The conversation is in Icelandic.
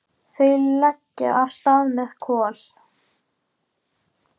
Þau leggja af stað með Kol.